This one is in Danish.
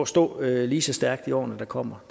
stå lige så stærkt i årene der kommer